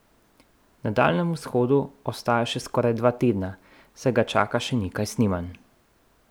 Na Daljnem vzhodu ostaja še skoraj dva tedna, saj ga čaka še nekaj snemanj.